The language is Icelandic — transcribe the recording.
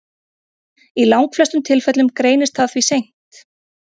Í langflestum tilfellum greinist það því seint.